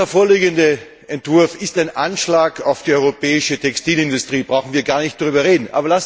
Der vorliegende Entwurf ist ein Anschlag auf die europäische Textilindustrie, da brauchen wir gar nicht darüber zu reden.